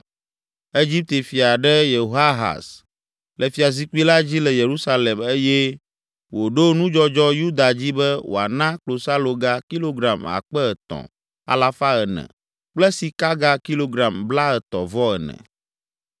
Egipte fia ɖe Yehoahaz le fiazikpui la dzi le Yerusalem eye wòɖo nudzɔdzɔ Yuda dzi be wòana klosaloga kilogram akpe etɔ̃, alafa ene (3,400) kple sikaga kilogram blaetɔ̃-vɔ-ene.